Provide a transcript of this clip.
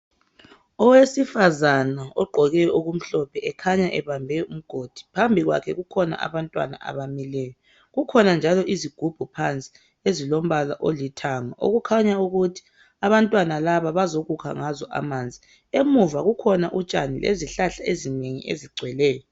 Owesifazana ogqoke okumhlophe ekhanya ebambe umgodi phambi kwakhe kukhona abantwana abamileyo, kukhona njalo izigubhu phansi ezilombala olithanga okukhanya ukuthi abantwana laba bazokukha ngazo amanzi. Emuva kukhona utshani lezihlahla ezinengi ezigcweleyo.